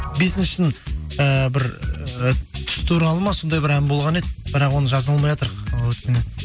бесіншісін ііі бір ы түс туралы ма сондай бір ән болған еді бірақ оны жаза алмайатырық